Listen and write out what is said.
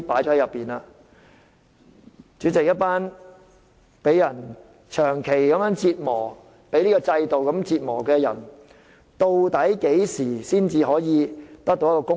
主席，一群長期被這制度折磨的人，究竟何時才能得到公道？